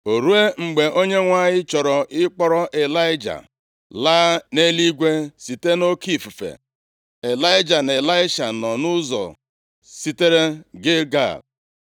O ruo mgbe Onyenwe anyị chọrọ ị kpọrọ Ịlaịja laa nʼeluigwe site nʼoke ifufe, Ịlaịja na Ịlaisha nọ nʼụzọ sitere Gilgal.